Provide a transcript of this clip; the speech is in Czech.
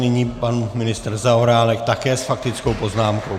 Nyní pan ministr Zaorálek také s faktickou poznámkou.